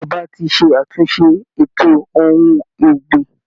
Ìjọba ti ṣàtúnṣe ètò ohun ọ̀gbìn